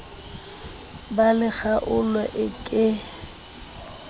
ba le kgaolo e ke